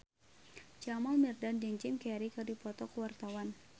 Jamal Mirdad jeung Jim Carey keur dipoto ku wartawan